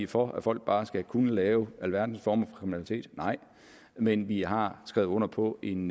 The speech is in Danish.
for at folk bare skal kunne lave alverdens former for kriminalitet nej men vi har skrevet under på en